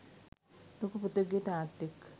ලොකු පුතෙකුගේ තාත්තෙක්